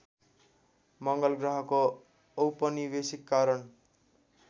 मङ्गल ग्रहको औपनिवेशीकरण